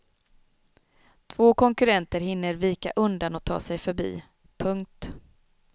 Två konkurrenter hinner vika undan och ta sig förbi. punkt